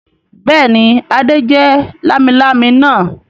Bẹ́ẹ̀ ni, Adé jẹ lámilámi náà.